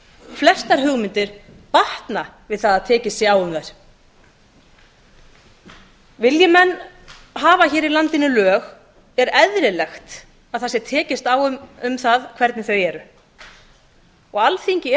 flestar hugmyndir batna við það að tekist sé um þær vilji menn hafa í landinu lög er eðlilegt að tekist sé á um hvernig þau eru alþingi